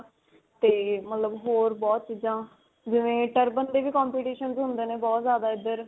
'ਤੇ ਮਤਲਬ ਹੋਰ ਬਹੁਤ ਚੀਜਾਂ, ਜਿਵੇਂ turban ਦੇ ਵੀ competitions ਹੁੰਦੇ ਨੇ ਬਹੁਤ ਜਿਆਦਾ ਇੱਧਰ.